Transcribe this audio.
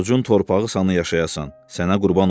Orucun torpağı sanı yaşayasan, sənə qurban olum.